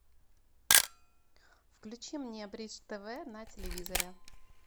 включи мне бридж тв на телевизоре